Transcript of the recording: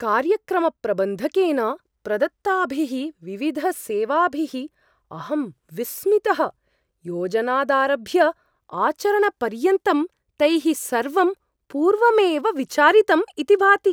कार्यक्रमप्रबन्धकेन प्रदत्ताभिः विविधसेवाभिः अहं विस्मितः। योजनादारभ्य आचरणपर्यन्तं तैः सर्वं पूर्वमेव विचारितम् इति भाति!